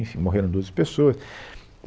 Enfim, morreram doze pessoas.